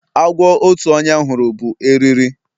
Agwo otu onye hụrụ bụ eriri